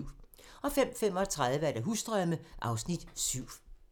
05:35: Husdrømme (Afs. 7)